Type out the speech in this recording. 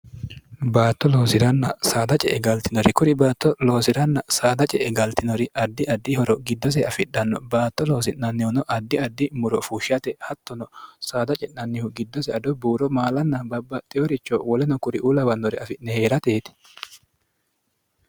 baatto loosi'ranna saada ce e galtinori kuri baatto loosi'ranna saada ce e galtinori addi addihoro giddose afidhanno baatto loosi'nannihuno addi addi muro fuushshate hattono saada ce'nannihu giddose adu buuro maalanna babbaxxiyoricho woleno kuri ulawannore afi'ne hee'rateeti